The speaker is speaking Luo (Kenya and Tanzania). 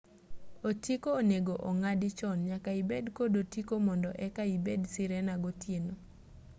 otiko onego ong'adi chon nyaka ibed kod otiko mondo eka ibed sirena gotieno